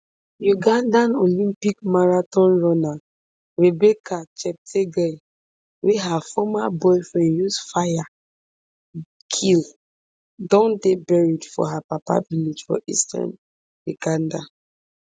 ugandan olympic marathon runner rebecca cheptegei wey her former boyfriend use fire kill don dey buried for her papa village for eastern uganda